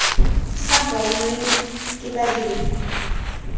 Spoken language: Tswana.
sa bonweng ke badirisi ba